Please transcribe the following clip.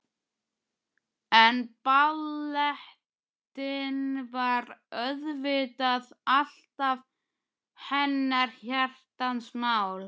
En ballettinn var auðvitað alltaf hennar hjartans mál.